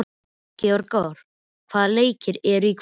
Gregor, hvaða leikir eru í kvöld?